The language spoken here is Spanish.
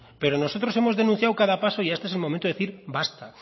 pero nosotros hemos denunciado cada paso y este es el momento de decir basta